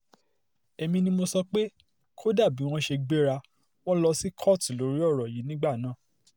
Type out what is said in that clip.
èmi ni mo sọ pé kò dáa bíi wọ́n ṣe gbéra wọn lọ sí kóòtù lórí ọ̀rọ̀ yìí nígbà náà